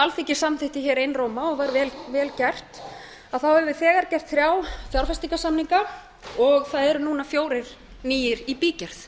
alþingi samþykkti hér einróma og var vel gert höfum við þegar gert þrjá fjárfestingarsamninga og það eru nú núna fjórir nýir í bígerð